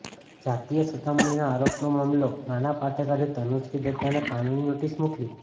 જાતીય સતામણીના આરોપનો મામલોઃ નાના પાટેકરે તનુશ્રી દત્તાને કાનૂની નોટિસ મોકલી